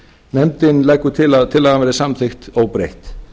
nefndin leggur til að tillagan verði samþykkt óbreytt